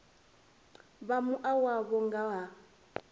vha mua wavho nga ha